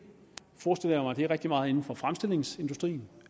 bliver rigtig meget inden for fremstillingsindustrien